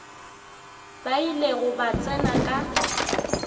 ba ilego ba tsena ka